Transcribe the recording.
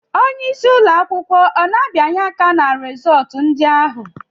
Onyeisi ụlọ akwụkwọ ọ na-abianye aka ná rizọtụ ndị ahụ?